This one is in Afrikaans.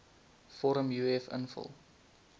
vorm uf invul